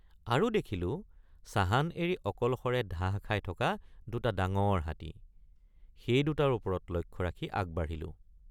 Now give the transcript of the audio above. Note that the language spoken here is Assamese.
আৰু দেখিলোঁ চাহান এৰি অকলশৰে ধাহ খাই থকা দুটা ডাঙৰ হাতী সেই দুটাৰ ওপৰত লক্ষ্য ৰাখি আগবাঢ়িলোঁ।